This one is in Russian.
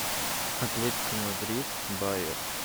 атлетико мадрид байер